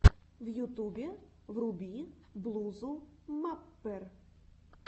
в ютубе вруби блузу маппер